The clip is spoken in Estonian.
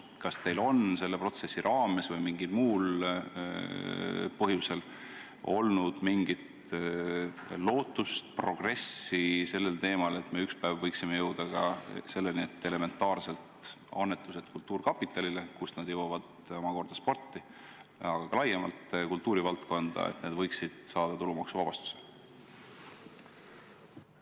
Kas teil on selle protsessi raames või mingil muul põhjusel olnud mingit edulootust, et me ükspäev võiksime jõuda selleni, et selged annetused kultuurkapitalile ja sealt omakorda spordile, aga ka laiemalt kultuurivaldkonda, võiksid saada tulumaksuvabastuse?